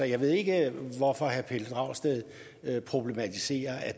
jeg ved ikke hvorfor herre pelle dragsted problematiserer at